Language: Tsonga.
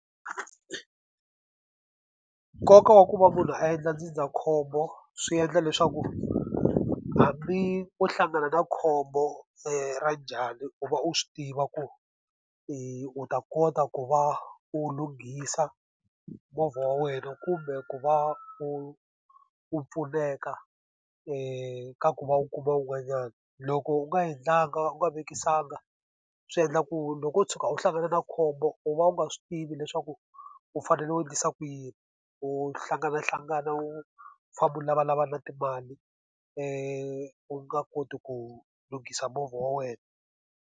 Nkoka wa ku va munhu a endla ndzindzakhombo swi endla leswaku hambi o hlangana na khombo ra njhani u va u swi tiva ku u ta kota ku va u lunghisa movha wa wena kumbe ku va u u pfuneka ka ku va u kuma un'wanyana. Loko u nga endlanga u nga vekisanga, swi endla u ku loko u tshuka u hlangana na khombo u va u nga swi tivi leswaku u fanele u endlisa ku yini. U hlanganahlangana u famba u lavalavana na timali u nga koti ku lunghisa movha wa wena.